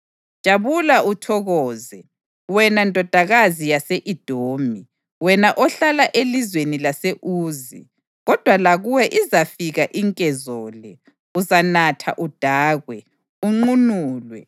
Jabula uthokoze, wena Ndodakazi yase-Edomi, wena ohlala elizweni lase-Uzi. Kodwa lakuwe izafika inkezo le; uzanatha udakwe, unqunulwe.